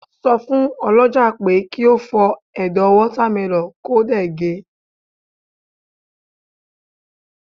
so fun olójà pe ki o fó Edo watermelon ko dẹ̀ ge